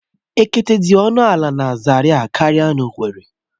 Okpete dị ọnụ ala na Zaria karịa n'owerri